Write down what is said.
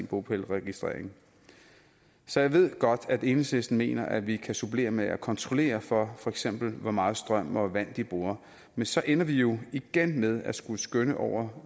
bopælsregistrering så jeg ved godt at enhedslisten mener at vi kan supplere med at kontrollere for for eksempel hvor meget strøm og vand de bruger men så ender vi jo igen med at skulle skønne over